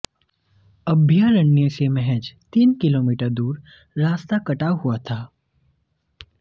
अभयारण्य से महज तीन किमी दूर रास्ता कटा हुआ था